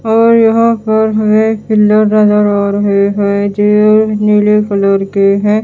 और यहां पर हमें नजर आ रहे हैं जो नीले कलर के है।